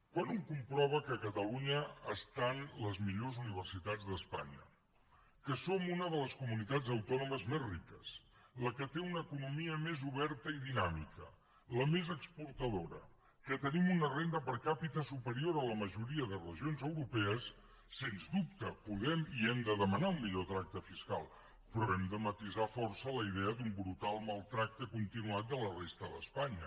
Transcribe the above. quan un comprova que a catalunya estan les millors universitats d’espanya que som una de les comunitats autònomes més riques la que té una economia més oberta i dinàmica la més exportadora que tenim una renda per capitala majoria de regions europees sens dubte podem i hem de demanar un millor tracte fiscal però hem de matisar força la idea d’un brutal maltractament continuat de la resta d’espanya